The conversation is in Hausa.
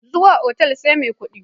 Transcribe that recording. Zuwa otal sai mai kudi.